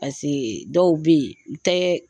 Paseke dɔw bɛ yen, o tɛ